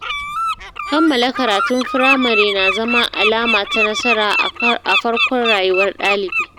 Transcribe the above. Kammala karatun firamare na zama alama ta nasara a farkon rayuwar ɗalibi.